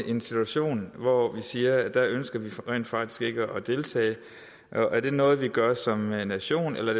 i en situation hvor vi siger at der ønsker vi rent faktisk ikke at deltage og er det noget vi gør som nation eller